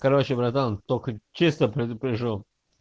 короче братан только честно предупрежу